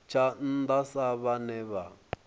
tsha nnda sa vhane vha